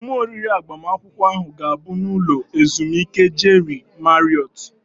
Emume oriri agbamakwụkwọ ahụ ga-abụ n'ụlọ ezumike Jeri Mariọt